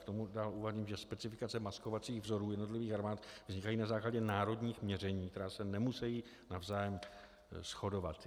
K tomu dále uvádím, že specifikace maskovacích vzorů jednotlivých armád vznikají na základě národních měření, která se nemusejí navzájem shodovat.